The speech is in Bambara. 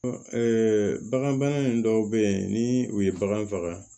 bagan bana in dɔw bɛ yen ni u ye bagan faga